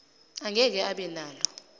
angeke abe nalo